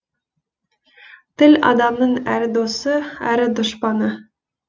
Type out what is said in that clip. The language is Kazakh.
тіл адамның әрі досы әрі дұшпаны